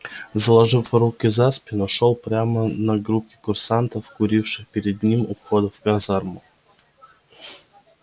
заложив руки за спину шёл прямо на группки курсантов куривших перед ним у входа в казарму